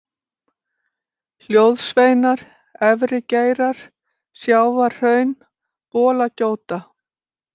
Hljóðsveinar, Efri-Geirar, Sjávarhraun, Bolagjóta